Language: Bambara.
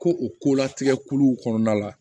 Ko o ko latigɛ kuluw kɔnɔna la